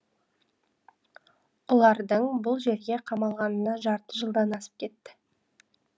ұлардың бұл жерге қамалғанына жарты жылдан асып кетті